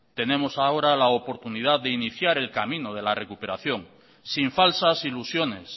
tenemos ahora la oportunidad de iniciar el camino de la recuperación sin falsas ilusiones